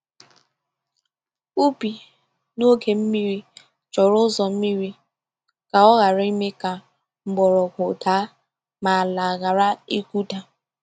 Ubi n’oge mmiri chọrọ ụzọ mmiri ka ọ ghara ime ka mgbọrọgwụ daa ma ala ghara ịkụda.